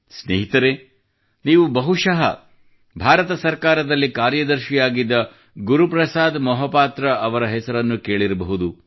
ಸ್ನೇಹಿತರೇ ನೀವು ಬಹಶಃ ಭಾರತ ಸರ್ಕಾರದಲ್ಲಿ ಕಾರ್ಯದರ್ಶಿಯಾಗಿದ್ದ ಗುರು ಪ್ರಸಾದ್ ಮಹಾಪಾತ್ರ ಅವರ ಹೆಸರನ್ನು ಕೇಳಿರಬಹುದು